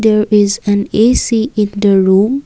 there is an A_C in the room.